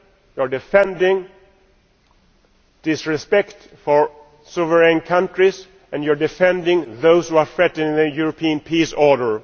You are defending disrespect for sovereign countries, and you are defending those who are threatening Europe's peaceful order.